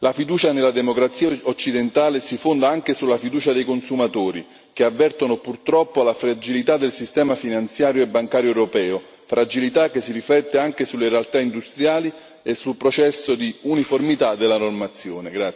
La fiducia nella democrazia occidentale si fonda anche sulla fiducia dei consumatori, che avvertono purtroppo la fragilità del sistema finanziario e bancario europeo, fragilità che si riflette anche sulle realtà industriali e sul processo di uniformità della normazione.